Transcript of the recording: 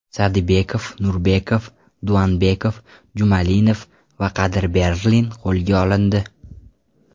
Sadibekov, Nurbekov, Duanbek, Jumalinov va Qadirberlin qo‘lga olindi.